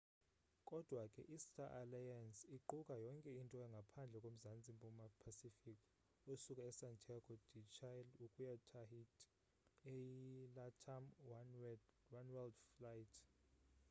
kodwa ke i star alliance iquka yonke into ngaphandle ko mzantsi mpuma pacific osuka e santiago de chile ukuya tahiti eyi latam oneworld flight